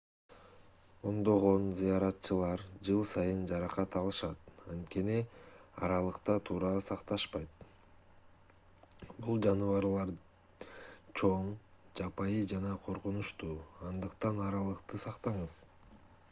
ондогон зыяратчылар жыл сайын жаракат алышат анткени аралыкты туура сакташпайт бул жаныбарлар чоң жапайы жана коркунучтуу андыктан аралыкты сактаңыз